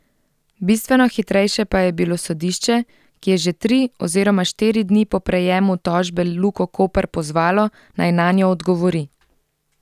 Bistveno hitrejše pa je bilo sodišče, ki je že tri oziroma štiri dni po prejemu tožbe Luko Koper pozvalo, naj nanjo odgovori.